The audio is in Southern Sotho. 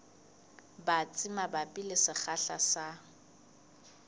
batsi mabapi le sekgahla sa